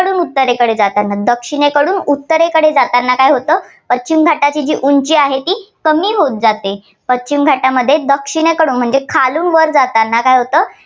कडून उत्तरेकडे जाताना दक्षिणेकडून उत्तरेकडे जाताना काय होतं पश्चिम घाटात जी उंची आहे ती कमी होत जाते पश्चिम घाटामध्ये दक्षिणेकडून म्हणजे खालून वर जाताना काय होतं